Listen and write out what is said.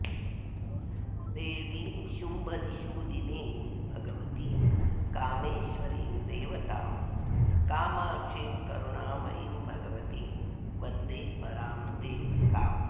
देवीं शुम्भनिषूदिनीं भगवतीं कामेश्वरीं देवतां कामाक्षीं करुणामयीं भगवतीं वन्दे परां देवताम्